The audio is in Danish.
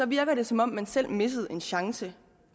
virker det som om man selv missede en chance